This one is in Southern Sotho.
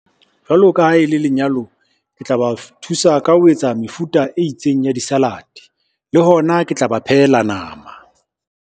Jwalo ka ha e le lenyalo, ke tla ba thusa ka ho etsa mefuta e itseng ya di-salad, le hona ke tla ba phehela nama.